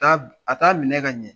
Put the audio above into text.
Ta be, a taa minɛ ka ɲɛ.